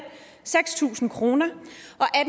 seks tusind kroner og